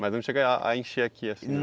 Mas não chega a encher aqui assim,